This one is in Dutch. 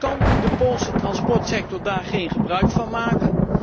Kan de Poolse transportsector daar geen gebruik van maken?